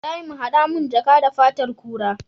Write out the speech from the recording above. Ibrahim hada mun jaka da fatar kura